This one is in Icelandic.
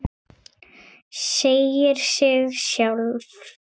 Segir sig sjálft.